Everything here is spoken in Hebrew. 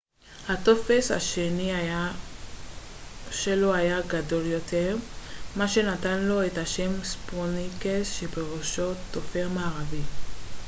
הטופר השני שלו היה גדול יותר מה שנתן לו את השם הספרוניקס שפירושו טופר מערבי